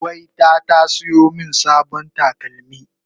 gwayta ta siyo min sabon takalmi